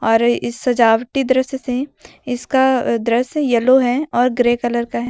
इस सजावटी दृश्य से इसका दृश्य येलो है और ग्रे कलर का है।